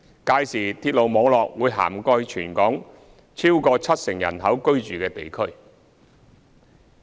屆時鐵路網絡會涵蓋全港逾七成人口居住的地區。